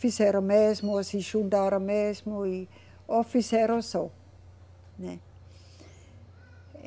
Fizeram mesmo, se juntaram mesmo e ou fizeram só, né?